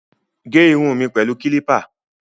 Gẹ irun mi pẹ̀lú kílípà